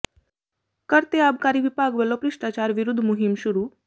ਕਰ ਤੇ ਆਬਕਾਰੀ ਵਿਭਾਗ ਵਲੋਂ ਭ੍ਰਿਸ਼ਟਾਚਾਰ ਵਿਰੁੱਧ ਮੁਹਿੰਮ ਸ਼ੁਰੂ